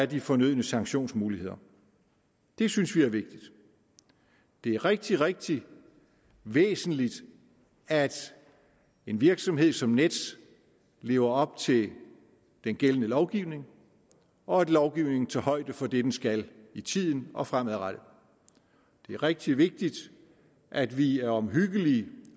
de fornødne sanktionsmuligheder det synes vi er vigtigt det er rigtig rigtig væsentligt at en virksomhed som nets lever op til den gældende lovgivning og at lovgivningen tager højde for det den skal i tiden og fremadrettet det er rigtig vigtigt at vi er omhyggelige